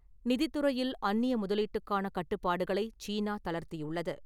நிதித்துறையில் அன்னிய முதலீட்டுக்கான கட்டுப்பாடுகளை சீனா தளர்த்தியுள்ளது.